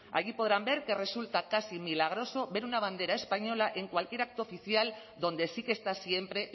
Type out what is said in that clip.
allí podrán ver que resulta casi milagroso ver una bandera española en cualquier acto oficial donde sí que está siempre